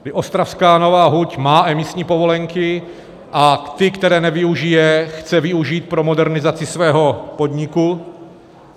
Ostravská Nová huť má emisní povolenky a ty, které nevyužije, chce využít pro modernizaci svého podniku.